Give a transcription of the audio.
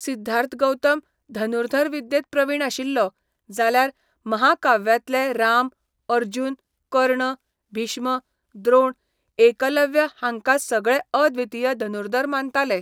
सिद्धार्थ गौतम धनुर्धर विद्येंत प्रवीण आशिल्लो, जाल्यार महाकाव्यांतले राम, अर्जुन, कर्ण, भीष्म, द्रोण, एकलव्य हांकां सगळे अद्वितीय धनुर्धर मानताले.